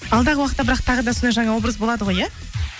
алдағы уақытта бірақ тағы да сондай жаңа образ болады ғой иә